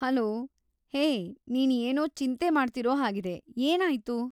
Hello, hey ನೀನ್ ಏನೋ ಚಿಂತೆ ಮಾಡ್ತಿರೋ ಹಾಗಿದೆ, ಏನಾಯ್ತು?